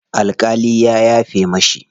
Alƙalin ya yafe mishi.